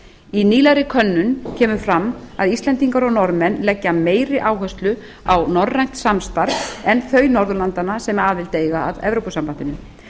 í nýlegri könnun kemur fram að íslendingar og norðmenn legðu meiri áherslu á norrænt samstarf en þau norðurlandanna sem aðild eiga að evrópusambandinu